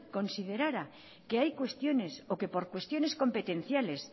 considerara que hay cuestiones o que por cuestiones competenciales